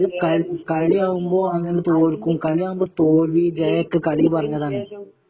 കളി കളിയാകുമ്പോ അങ്ങനെ തോല്ക്കും കളിയാകുമ്പോ തോൽവി ജയം ഒക്കെ കളിയില് പറഞ്ഞതാണ്